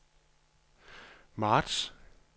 marts